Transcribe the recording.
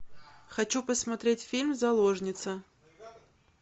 хочу посмотреть фильм заложница